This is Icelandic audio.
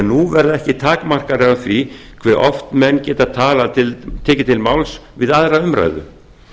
nú verða ekki takmarkanir á því hve oft menn geta tekið til máls við aðra umræðu